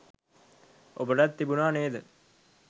ඔබටත් තිබුණා නේද